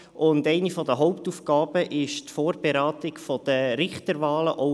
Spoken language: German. Eine der Hauptaufgaben ist die Vorberatung der Richterwahlen.